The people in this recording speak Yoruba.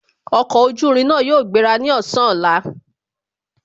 Ọkọ̀ ojú irin náà yóò gbéra ní ọ̀sán ọ̀la